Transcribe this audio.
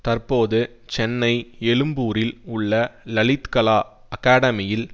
தற்போது சென்னை எழும்பூரில் உள்ள லலித்கலா அகடாமியில்